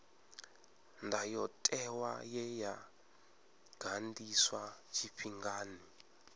ndayotewa ye ya ganḓiswa tshifhingani